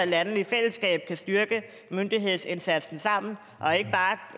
lande i fællesskab kan styrke myndighedsindsatsen sammen og ikke bare